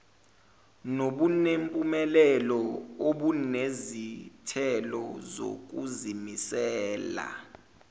nobunempumelelo obunezithelo zokuzimisela